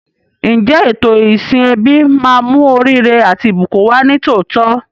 Ǹjẹ́ ètò ìsìn ẹbí máa mú oríire àti ìbùkún wá ní tòótọ́?